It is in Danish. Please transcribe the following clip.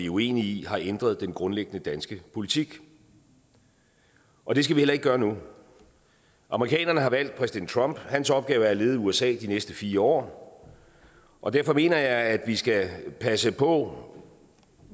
uenige i har ændret den grundlæggende danske politik og det skal vi heller ikke gøre nu amerikanerne har valgt præsident trump hans opgave er at lede usa de næste fire år og derfor mener jeg at vi skal passe på